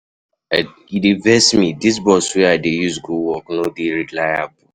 E dey vex me, dis bus wey I dey use go work no dey reliable.